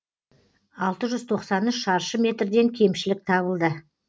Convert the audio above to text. алты жүз тоқсан үш шаршы метрден кемшілік табылды